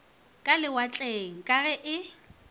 ka lewatleng ka ge e